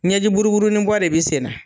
Ɲɛjiburuburunin bɔ de bɛ sen na.